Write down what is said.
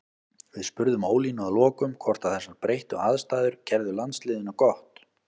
Við spurðum Ólínu að lokum hvort að þessar breyttu aðstæður gerðu landsliðinu gott.